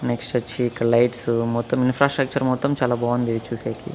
Next వచ్చి ఇక్కడ lights మొత్తం ఇన్ఫ్రాస్ట్రక్చర్ మొత్తం చాలా బాగుంది చూసేకి.